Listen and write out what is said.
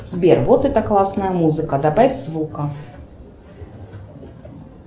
сбер вот это классная музыка добавь звука